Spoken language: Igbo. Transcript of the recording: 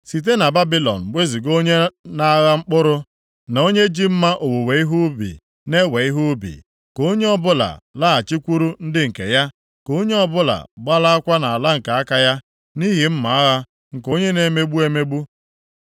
Site na Babilọn wezuga onye na-agha mkpụrụ na onye ji mma owuwe ihe ubi na-ewe ihe ubi. Ka onye ọbụla laghachikwuru ndị nke ya, ka onye ọbụla gbalaakwa nʼala nke aka ya, nʼihi mma agha nke onye na-emegbu emegbu.